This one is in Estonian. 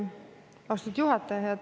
Austatud juhataja!